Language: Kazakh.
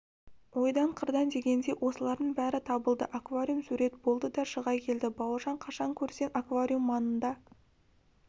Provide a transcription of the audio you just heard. ойдан-қырдан дегендей осылардың бәрі табылды аквариум сурет болды да шыға келді бауыржан қашан көрсең аквариум маңында